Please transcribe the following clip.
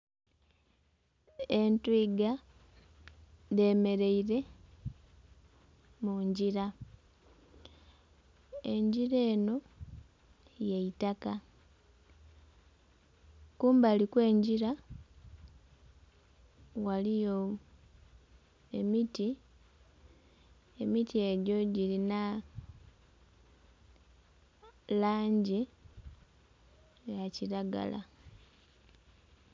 Entwiga dhemeraire mungira, engira eno yeitaka kumbali okw'engira ghaliyo emiti, emiti egyo jirinha langi eya kiragala.